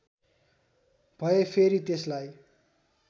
भए फेरि त्यसलाई